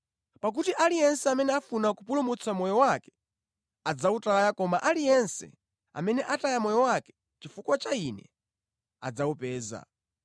Pakuti aliyense amene afuna kupulumutsa moyo wake adzawutaya koma aliyense amene ataya moyo wake chifukwa cha Ine adzawupeza.